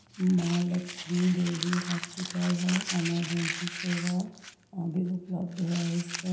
माँ लक्ष्मी देवी हॉस्पिटल है ईमर्जन्सी सेवा अभी उपलब्ध है इस पर--